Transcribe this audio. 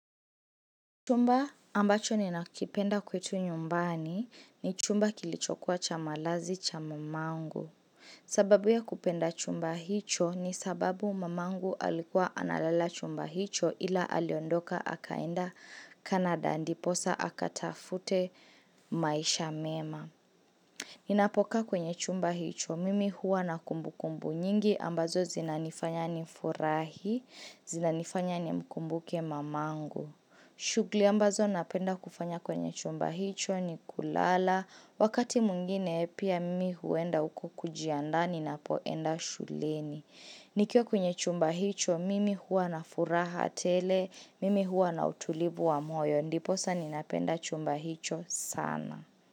Chumba ambacho ninakipenda kwetu nyumbani ni chumba kilichokuwa cha malazi cha mamangu. Sababu ya kupenda chumba hicho ni sababu mamangu alikuwa analala chumba hicho ila aliondoka akaenda Canada ndiposa akatafute maisha mema. Ninapokaa kwenye chumba hicho mimi huwa na kumbukumbu nyingi ambazo zinanifanya nifurahi, zinanifanya nimkumbuke mamangu. Shughuli ambazo napenda kufanya kwenye chumba hicho ni kulala. Wakati mwingine pia mimi huenda huko kujiandaa ninapoenda shuleni Nikiwa kwenye chumba hicho mimi huwa na furaha tele. Mimi huwa na utulivu wa moyo ndiposa ninapenda chumba hicho sana.